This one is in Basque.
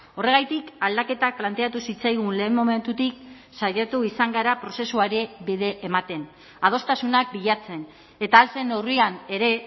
horregatik aldaketak planteatu zitzaigun lehen momentutik saiatu izan gara prozesuari bide ematen adostasunak bilatzen eta ahal zen neurrian ere